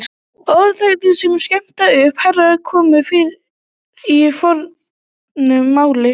Orðatiltækið að skera upp herör kemur fyrir í fornu máli.